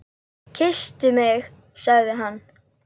Kysstu mig sagði hann.